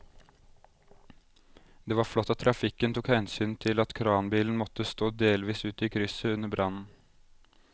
Det var flott at trafikken tok hensyn til at kranbilen måtte stå delvis ute i krysset under brannen.